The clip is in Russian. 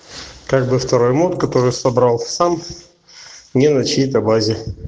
как бы второй мод который собрал сам не значит на базе